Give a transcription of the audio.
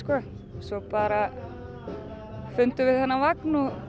svo bara fundum við þennan vagn og